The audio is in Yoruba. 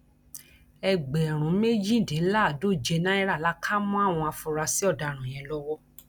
ẹgbẹrún méjìdínláàádóje náírà la kà mọ àwọn afurasí ọdaràn yẹn lọwọ